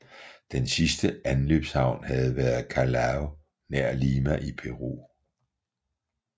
Den sidste anløbshavn havde været Callao nær Lima i Peru